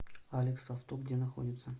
алекс авто где находится